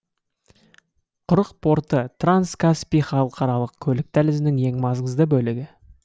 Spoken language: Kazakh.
құрық порты транскаспий халықаралық көлік дәлізінің ең маңызды бөлігі